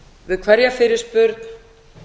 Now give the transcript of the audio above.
við hverja fyrirspurn